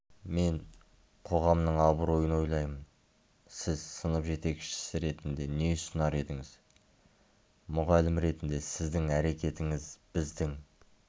мен қоғамның абыройын ойлаймын сіз сынып жетекшісі ретінде не ұсынар едіңіз мұғалім ретінде сіздің әрекетіңіз біздің